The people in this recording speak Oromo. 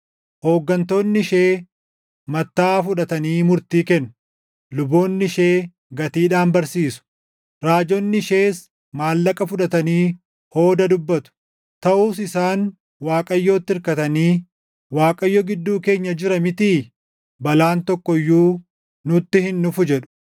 Hooggantoonni ishee mattaʼaa fudhatanii murtii kennu; luboonni ishee gatiidhaan barsiisu; raajonni ishees maallaqa fudhatanii hooda dubbatu. Taʼus isaan Waaqayyotti irkatanii, “ Waaqayyo gidduu keenya jira mitii? Balaan tokko iyyuu nutti hin dhufu” jedhu.